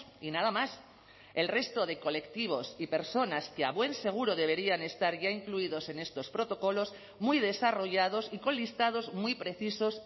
y nada más el resto de colectivos y personas que a buen seguro deberían estar ya incluidos en estos protocolos muy desarrollados y con listados muy precisos